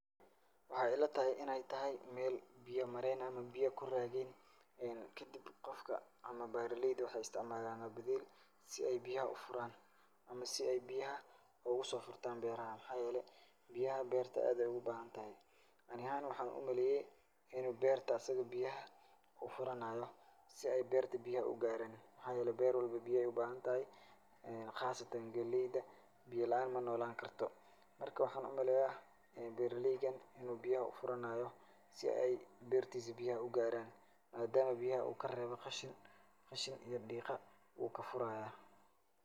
Waxaay ilataha inaay tahay meel biyo mareen aha ama biyo ku raageen kadib qofka ama beerelayda waxaay istacmaalaan badiil si ay biyaha u furaan ama si ay biyaha ugu soo furtaan beeraha. Maxaa yeelay biyaha beerta aad ayaay ugu baahintahay. Ani ahaan waxaan umaleeyay, in uu beerta asig biyaha u furanaayo si ay beerta biyaha ugaaraan. Maxaa yeelay beer walbo biya ayaay u baahantahay khaasatan gelayda biyo la'aan ma noolaankarto. Marka waxaan u maleyaa beerelaygan in uu biyaha u furanaayo si ay beertiisa biyaha u gaaraan maadaama biyaha uu ka reebo khashin, khashin iyo dhiiqa wuu ka furaaya.